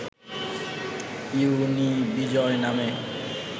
ইউনিবিজয় নামে